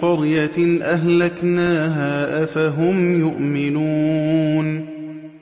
قَرْيَةٍ أَهْلَكْنَاهَا ۖ أَفَهُمْ يُؤْمِنُونَ